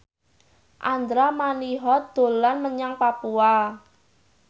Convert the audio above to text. Andra Manihot dolan menyang Papua